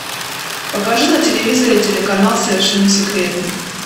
покажи на телевизоре телеканал совершенно секретно